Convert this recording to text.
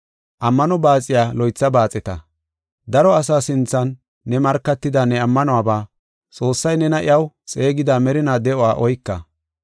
Ammano baaxiya loytha baaxeta. Daro asaa sinthan ne markatida ne ammanuwaba, Xoossay nena iyaw xeegida merinaa de7uwa oyka.